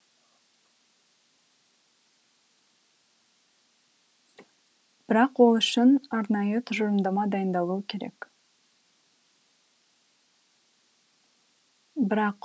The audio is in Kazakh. бірақ ол үшін арнайы тұжырымдама дайындалуы керек